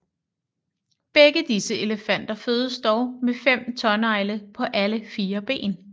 Begge disse elefanter fødes dog med fem tånegle på alle fire ben